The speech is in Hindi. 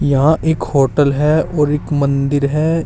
यहां एक होटल है और एक मंदिर है।